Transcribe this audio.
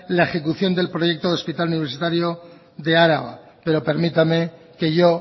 la ejecución del proyecto del hospital universitario de araba pero permítame que yo